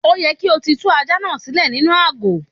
Ó yẹ kí o ti tú ajá náà sílè nínú àgò.